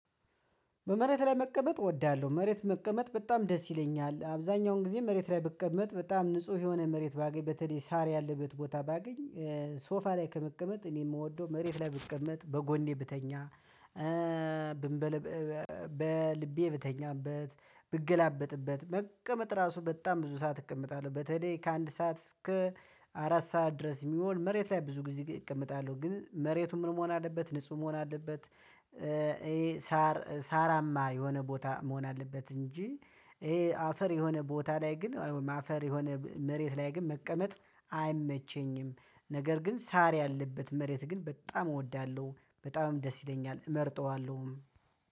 በመሬት ላይ መቀመጥ እወዳለሁ መሬት መቀመጥ በጣም ደስ ይለኛል። አብዛኛውን ጊዜ መሬት ላይ ብቀመጥ በጣም ንጹህ የሆነ መሬት ባገኝ በተለይ ሳር ያለበት ቦታ ባገኝ። ሶፋ ላይ ከመቀመጥ እኔ የምወደው መሬት ላይ ብቀመጥ በጎኔ ብተኛ። በልቤ ብተኛበት ብገላበጥበት መቀመጥ ራሱ በጣም ብዙ ሰዓት እቀመጣለሁ በተለይ ከአንድ ሰዓት እስከ አራት ሰዓት ድረስ የሚሆን መሬት ላይ ብዙ ጊዜ እቀመጣለሁ። ግን መሬቱን ምን መሆን አለበት ንጹህ መሆን አለበት። ይሄ ሳር ሳራማ የሆነ ቦታ መሆን አለበት እንጂ። ይሄ አፈር የሆነ ቦታ ላይ ግን አፈር የሆነ መሬት ላይ ግን መቀመጥ አይመቸኝም። ነገር ግን ሳር ያለበት መሬት ግን በጣም እወዳለሁ በጣምም ደስ ይለኛል እመርጠዋለሁ።